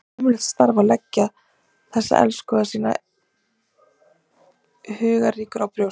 Það er ömurlegt starf að leggja þessa elskhuga sína huggunarríkur á brjóst.